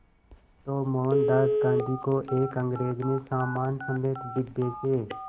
तो मोहनदास गांधी को एक अंग्रेज़ ने सामान समेत डिब्बे से